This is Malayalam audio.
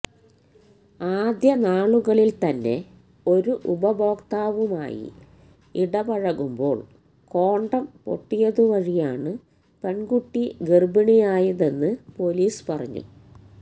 ആദ്യനാളുകളിൽ തന്നെ ഒരു ഉപഭോക്താവുമായി ഇടപഴകുമ്പോൾ കോണ്ടം പൊട്ടിയതുവഴിയാണ് പെൺകുട്ടി ഗർഭിണിയായതെന്ന് പൊലീസ് പറഞ്ഞു